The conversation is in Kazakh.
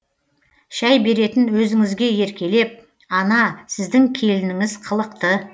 шәй беретін өзіңізге еркелеп ана сіздің келініңіз қылықты